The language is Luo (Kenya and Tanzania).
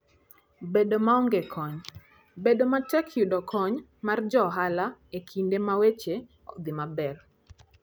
Bedo maonge kony: Bedo matek yudo kony mar johala e kinde ma weche ok odhi maber.